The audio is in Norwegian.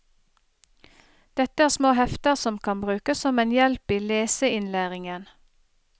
Dette er små hefter som kan brukes som en hjelp i leseinnlæringen.